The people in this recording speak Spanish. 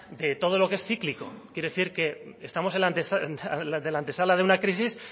de todo lo que es cíclico quiero decir que estamos en la antesala de una crisis